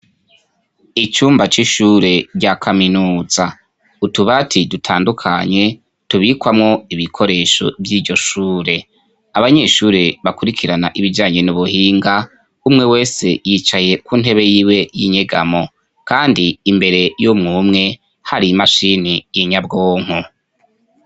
icyumba cy'ishure rya kaminuza utuba ti dutandukanye tubikwamo ibikoresho by'ivyoshure abanyeshure bakurikirana ibijyanyene nubuhinga umwe wese yicaye ku ntebe y'iwe y'inyegamo kandi imbere yo mwumwe hari imashini y'inyabwonko